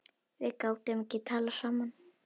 Við gátum ekki talað saman.